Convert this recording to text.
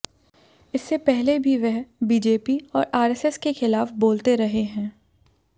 इससे पहले भी वह बीजेपी और आरएसएस के खिलाफ बोलते रहे हैं